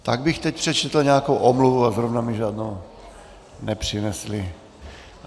Tak bych teď přečetl nějakou omluvu a zrovna mi žádnou nepřinesli.